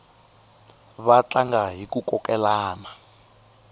va tlanga hiku kokelana